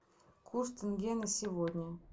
курс тенге на сегодня